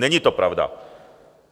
Není to pravda.